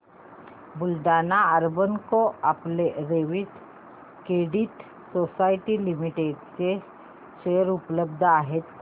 Buldhana urban cooperative credit society limited चे share उपलब्ध आहेत का